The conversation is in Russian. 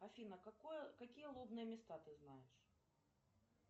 афина какие лобные места ты знаешь